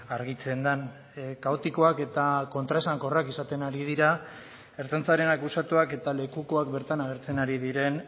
argitzen den kaotikoak eta kontraesankorrak izaten ari dira ertzaintzaren akusatuak eta lekukoak bertan agertzen ari diren